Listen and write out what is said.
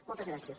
moltes gràcies